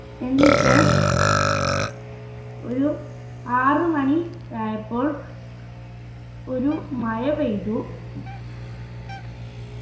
എന്നിട്ട് ഒരു ആറു മണി ആയപ്പോൾ ഒരു മഴ പെയ്തു